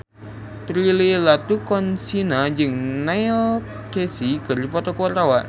Prilly Latuconsina jeung Neil Casey keur dipoto ku wartawan